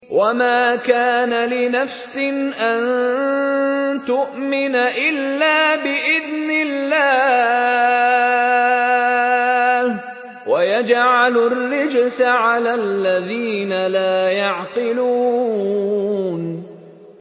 وَمَا كَانَ لِنَفْسٍ أَن تُؤْمِنَ إِلَّا بِإِذْنِ اللَّهِ ۚ وَيَجْعَلُ الرِّجْسَ عَلَى الَّذِينَ لَا يَعْقِلُونَ